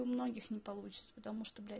у многих не получится потому блять